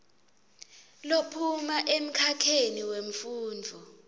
lophuma emkhakheni wemfundvo